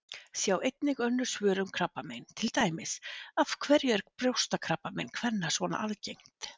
Sjá einnig önnur svör um krabbamein, til dæmis: Af hverju er brjóstakrabbamein kvenna svona algengt?